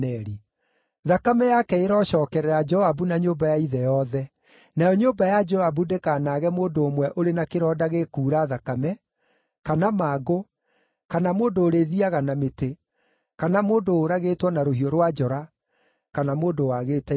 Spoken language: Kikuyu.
Thakame yake ĩrocookerera Joabu na nyũmba ya ithe yothe! Nayo nyũmba ya Joabu ndĩkanaage mũndũ ũmwe ũrĩ na kĩronda gĩkuura thakame, kana mangũ, kana mũndũ ũrĩthiiaga na mĩtĩ, kana mũndũ ũũragĩtwo na rũhiũ rwa njora, kana mũndũ wagĩte irio.”